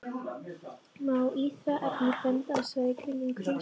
Má í því efni benda á svæðin kringum Krýsuvík